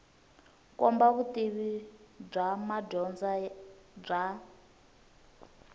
kombisa vutivi bya madyondza bya